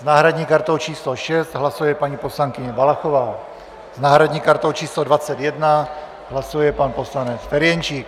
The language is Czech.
S náhradní kartou číslo 6 hlasuje paní poslankyně Valachová, s náhradní kartou číslo 21 hlasuje pan poslanec Ferjenčík.